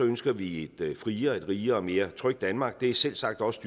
ønsker vi et friere rigere og mere trygt danmark og det er selvsagt også